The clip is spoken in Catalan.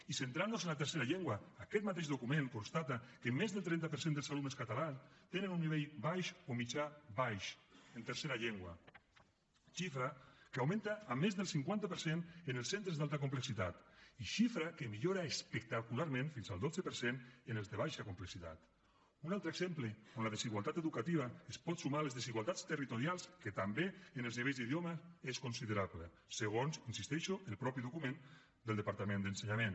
i centrant nos en la tercera llengua aquest mateix document constata que més del trenta per cent dels alumnes catalans tenen un nivell baix o mitjà baix en tercera llengua xifra que augmenta a més del cinquanta per cent en els centres d’alta complexitat i xifra que millora espectacularment fins al dotze per cent en els de baixa complexitat un altre exemple on la desigualtat educativa es pot sumar a les desigualtats territorials que també en els nivells d’idioma és considerable segons hi insisteixo el mateix document del departament d’ensenyament